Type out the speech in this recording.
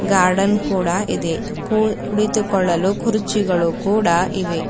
Garden ಕೂಡ ಇದೆ ಕೂಳ್ ಕುಳಿತುಕೊಳ್ಳಲು ಕುರ್ಚಿಗಳು ಕೂಡ ಇವೆ .